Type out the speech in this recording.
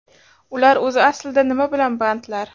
Ular o‘zi aslida nima bilan bandlar?